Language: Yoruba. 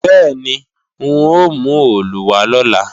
Bẹ́ẹ̀ni, n ó mú òòlù wá lọ̀la